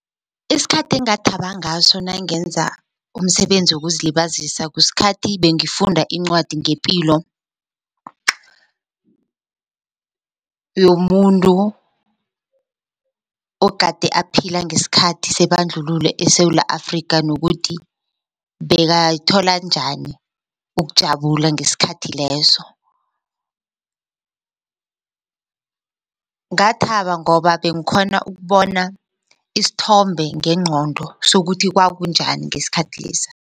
Isikhathi engathaba ngaso nangenza umsebenzi wokuzilibazisa kusikhathi bengifuna incwadi ngepilo yomuntu ogade aphila ngesikhathi sebandlululo eSewula Afrika nokuthi bekathola njani ukujabula ngesikhathi leso. Ngathaba ngoba benkhona ukubona isithombe ngengqondo sokuthi kwakunjani ngesikhathi lesa.